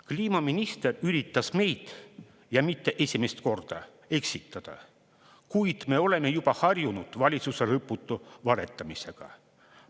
Kliimaminister üritas meid – ja mitte esimest korda – eksitada, kuid me oleme juba harjunud valitsuse lõputu valetamisega.